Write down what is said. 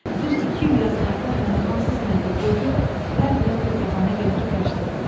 Düz iki il yazıq atam məni hansı sənətə qoydu, hər birinə bir bəhanə gətirib qaçdım.